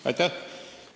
Aitäh!